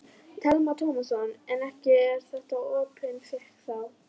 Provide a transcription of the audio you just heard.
Telma Tómasson: En ekki er þetta opin tékki þá?